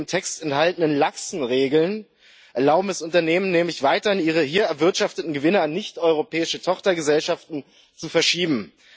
Die im Text enthaltenen laxen Regeln erlauben es Unternehmen nämlich weiterhin, ihre hier erwirtschafteten Gewinne an nichteuropäische Tochtergesellschaften zu verschieben.